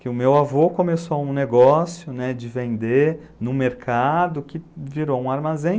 Que o meu avô começou um negócio, né, de vender no mercado, que virou um armazém.